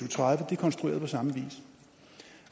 og tredive er konstrueret på samme vis